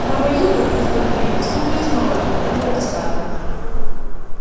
права юга черт побери снова и снова долетало до скарлетт